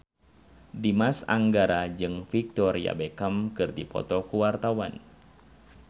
Dimas Anggara jeung Victoria Beckham keur dipoto ku wartawan